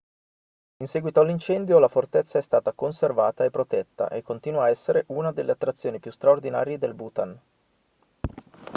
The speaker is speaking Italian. in seguito all'incendio la fortezza è stata conservata e protetta e continua a essere una delle attrazioni più straordinarie del bhutan